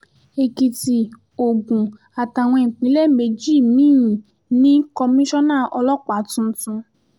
èkìtì ogun àtàwọn ìpínlẹ̀ méjì mí-ín ní kọmísánná ọlọ́pàá tuntun